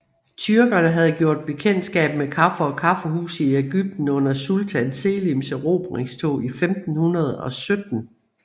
Tyrkerne havde gjort bekendtskab med kaffe og kaffehuse i Ægypten under sultan Selims erobringstog i 1517